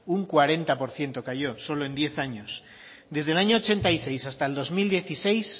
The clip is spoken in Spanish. un cuarenta por ciento cayó solo en diez años desde el año ochenta y seis hasta el dos mil dieciséis